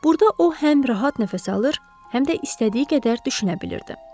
Burda o həm rahat nəfəs alır, həm də istədiyi qədər düşünə bilirdi.